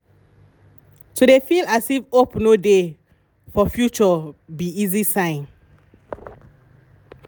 to dey feel as if hope no dey for future be easy sign